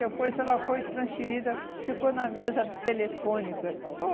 Depois, ela foi transferida, ficou na mesa de telefônica, ficou.